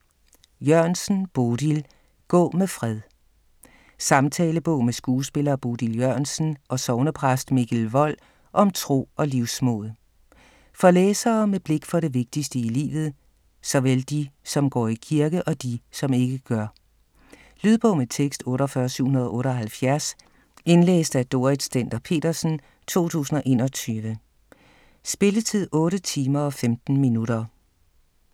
Jørgensen, Bodil: Gå med fred Samtalebog med skuespiller Bodil Jørgensen og sognepræst Mikkel Wold om tro og livsmod. For læsere med blik for det vigtigste i livet, såvel de, som går i kirke, og de, som ikke gør. Lydbog med tekst 48778 Indlæst af Dorrit Stender-Petersen, 2021. Spilletid: 8 timer, 15 minutter.